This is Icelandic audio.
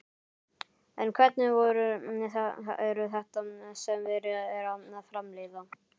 En hvernig vörur eru þetta sem verið er að framleiða?